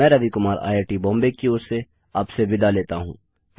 मैं रवि कुमार आईआईटीबॉम्बे की ओर से आपसे विदा लेता हूँ